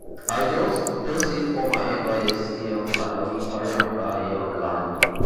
i just just save all my nysc um alawee carry am buy um land.